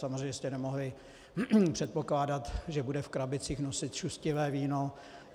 Samozřejmě jste nemohli předpokládat, že bude v krabicích nosit šustivé víno.